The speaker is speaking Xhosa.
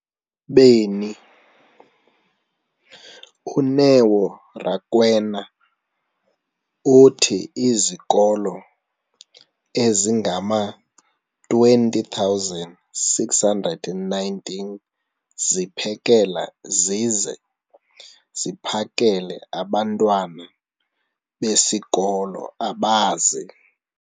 beni, uNeo Rakwena, uthi izikolo ezingama-20 619 ziphekela zize ziphakele abantwana besikolo abazi-